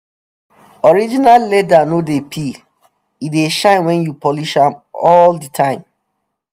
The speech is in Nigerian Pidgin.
original leather no dey peel. e dey shine wen you polish am all di time